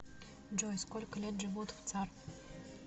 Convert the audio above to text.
джой сколько лет живут в цар